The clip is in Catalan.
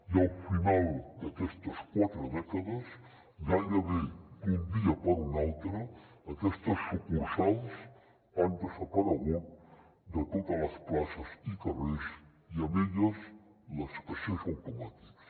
i al final d’aquestes quatre dècades gairebé d’un dia per un altre aquestes sucursals han desaparegut de totes les places i carrers i amb elles els caixers automàtics